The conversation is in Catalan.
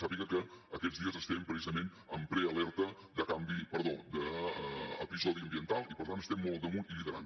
sàpiga que aquests dies estem precisament en prealerta d’episodi ambiental i per tant estem molt al damunt i liderant